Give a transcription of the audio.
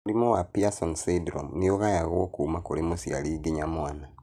Mũrimũ wa Pierson syndrome nĩ ũgayagwo kuma kũrĩ mũciari nginya mwana